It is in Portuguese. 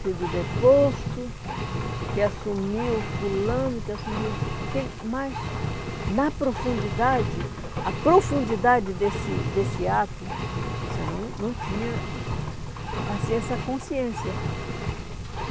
sido deposto, que assumiu fulano, que assumiu aquele... Mas, na profundidade, a profundidade desse desse ato, você não não tinha assim essa consciência.